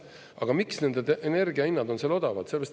Aga miks nende energiahinnad on seal odavad?